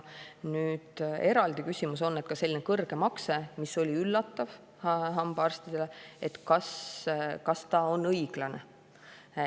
Nüüd, eraldi küsimus on, kas selline kõrge makse, mis oli üllatav hambaarstidele, on õiglane.